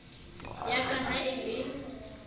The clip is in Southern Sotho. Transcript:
ya ka ha e le